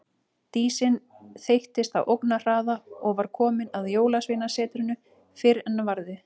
Dísin þeyttist á ógnarhraða og var komin að Jólasveinasetrinu fyrr en varði.